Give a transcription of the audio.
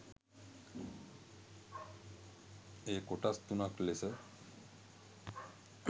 එය කොටස් තුනක් ලෙස